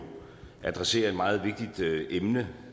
adresserer et meget vigtigt emne